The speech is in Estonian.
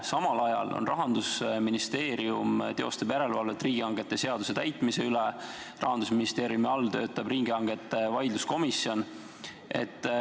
Samal ajal Rahandusministeerium teostab järelevalvet riigihangete seaduse täitmise üle, Rahandusministeeriumi juures töötab riigihangete vaidlustuse komisjon.